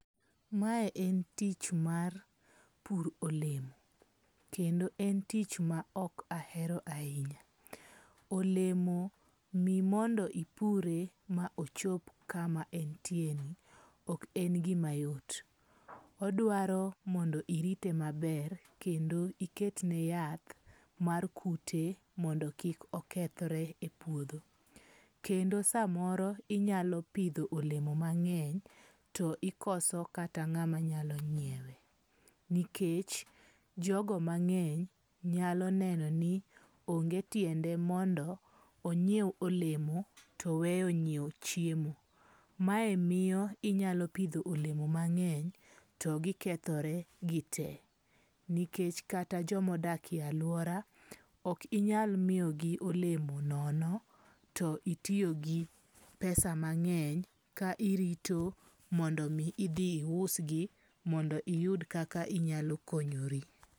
Mae en tich mar puro olemo. Kendo en tich ma ok ahero ahinya. Olemo mimondo ipure ma ochop kama entie ni, ok en gima yot. Odwaro mondo irite maber kendo iket ne yath mar kute mondo kik okethre e puodho. Kendo samoro inyalo pidho olemo mang'eny to ikoso kata ng'ama nyalo ny'iewe. Nikech jogo mang'eny nyalo neno ni onge tiende mondo onyiew olemo to oweyo nyiewo chiemo. Mae miyo inyalo pidho olemo mang'eny to gikethore gite. Nikech kata jomodak e aluora ok inyal miyogi olemo nono to itiyogi pesa mang'eny ka irito mondo mi idhi iusgi mondo iyud kaka inyalo konyori.